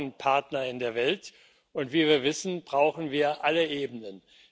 Wir brauchen Partner in der Welt, und wie wir wissen, brauchen wir alle Ebenen.